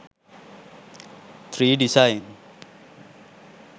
tree design